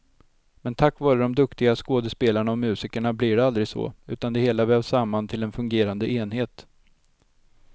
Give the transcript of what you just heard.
Men tack vare de duktiga skådepelarna och musikerna blir det aldrig så, utan det hela vävs samman till en fungerande enhet.